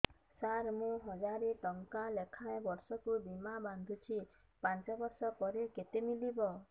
ସାର ମୁଁ ହଜାରେ ଟଂକା ଲେଖାଏଁ ବର୍ଷକୁ ବୀମା ବାଂଧୁଛି ପାଞ୍ଚ ବର୍ଷ ପରେ କେତେ ମିଳିବ